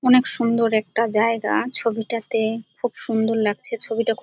অনেক সুন্দর একটা জায়গা-আ ছবিটাতে খুব সুন্দর লাগছে ছবিটা খু--